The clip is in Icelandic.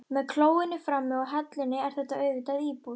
Með klóinu frammi og hellunni er þetta auðvitað íbúð.